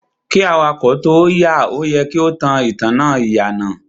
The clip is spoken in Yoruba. Kí awakọ̀ tóo yà, o yẹ kí o tan ìtanná ìyànà.